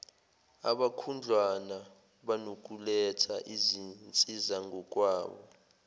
abakhudlwana banokuletha izinsizangokwabo